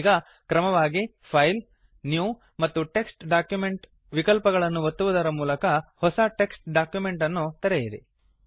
ಈಗ ಕ್ರಮವಾಗಿ file new ಮತ್ತು ಟೆಕ್ಸ್ಟ್ ಡಾಕ್ಯುಮೆಂಟ್ ವಿಕಲ್ಪಗಳನ್ನು ಒತ್ತುವುದರ ಮೂಲಕ ಹೊಸ ಟೆಕ್ಸ್ಟ್ ಡಾಕ್ಯುಮೆಂಟ್ ಅನ್ನು ತೆರೆಯಿರಿ